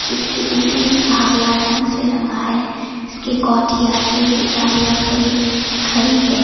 इसके ऊपरी भाग लाल रंग से रंगा है इसके कोर्टयार्ड पे भी गाड़ियां खड़ी खड़ी है।